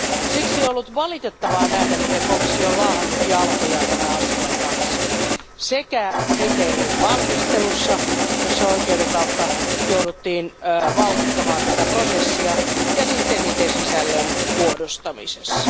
Siksi on ollut valitettavaa nähdä, miten komissio on laahannut jalkoja tämän asian kanssa sekä kriteerien valmistelussa, jossa oikeuden kautta jouduttiin vauhdittamaan tätä prosessia, että sisällön muodostamisessa.